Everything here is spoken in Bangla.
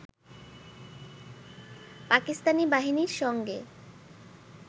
পাকিস্তানি বাহিনীর সঙ্গে